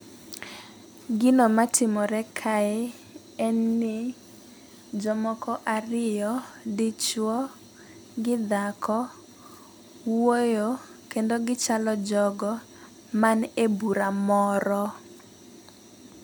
Gino matimore kae en ni jomoko ariyo dichuo gi dhako wuoyo kendo gichalo jogo man e bura moro.